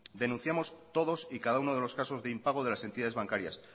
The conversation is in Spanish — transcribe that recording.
denunciamos todos y cada uno de los casos de impago de las entidades bancarias